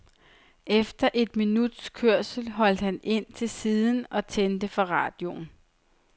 Efter et minuts kørsel holdt han ind til siden og tændte for radioen.